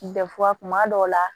kuma dɔw la